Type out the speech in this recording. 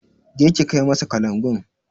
Je ki kai masa kalangun!